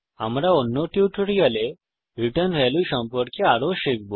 আমরা অন্য টিউটোরিয়ালে রিটার্ন ভ্যালু সম্পর্কে আরও শিখব